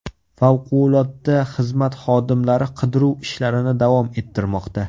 Favqulodda xizmat xodimlari qidiruv ishlarini davom ettirmoqda.